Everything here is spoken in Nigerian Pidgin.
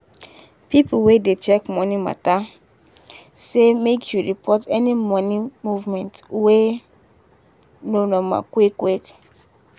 people wey dey check money matter say make you report any money movement wey no normal quick quick.